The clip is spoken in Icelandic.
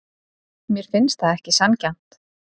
Mér finnst það ekki sanngjarnt.